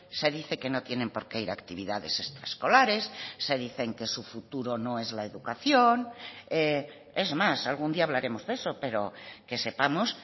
se dice que no tienen por qué ir a actividades extraescolares se dicen que su futuro no es la educación es más algún día hablaremos de eso pero que sepamos